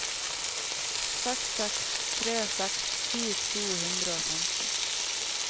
seks seks tre seks ti to hundre og femti